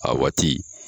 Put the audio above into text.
A waati